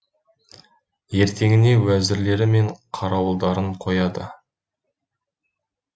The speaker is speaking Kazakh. ертеңіне уәзірлері мен қарауылдарын қояды